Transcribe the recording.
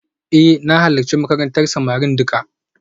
Eh na halarci makarantar samari duka